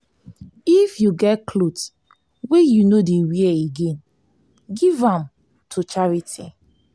if you get clothes wey you no dey wear again give dem to charity.